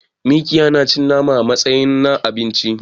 Mikiya na cin nama ne a tsamayin abinci